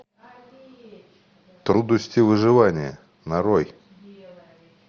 трудности выживания нарой